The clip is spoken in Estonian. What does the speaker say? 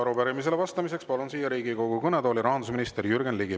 Arupärimisele vastamiseks palun siia Riigikogu kõnetooli rahandusminister Jürgen Ligi.